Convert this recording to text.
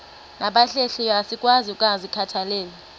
nabahlehliyo asikwazi ukungazikhathaieli